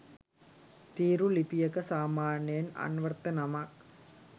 තීරු ලිපියක සාමාන්‍යයෙන් අන්වර්ථ නමක්